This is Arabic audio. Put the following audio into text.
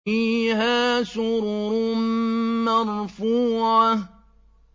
فِيهَا سُرُرٌ مَّرْفُوعَةٌ